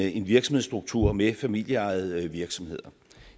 en virksomhedsstruktur med familieejede virksomheder